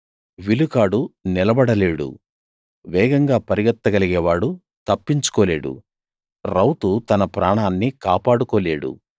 విలుకాడు నిలబడలేడు వేగంగా పరుగెత్తగలిగేవాడు తప్పించుకోలేడు రౌతు తన ప్రాణాన్ని కాపాడుకోలేడు